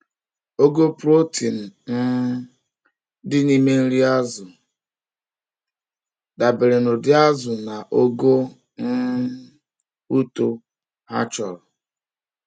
Ogo protein um dị n’ime nri azụ dabere n’ụdị azụ na ogo um uto ha chọrọ.